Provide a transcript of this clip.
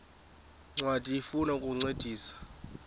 ncwadi ifuna ukukuncedisa